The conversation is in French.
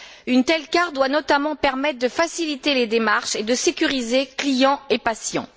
Une telle carte doit notamment permettre de faciliter les démarches et de sécuriser clients et patients.